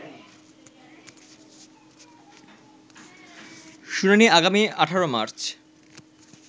শুনানি আগামী ১৮ মার্চ